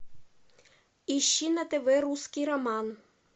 ищи на тв русский роман